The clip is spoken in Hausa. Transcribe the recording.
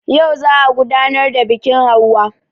Yau za a gudanar da biƙin hauwa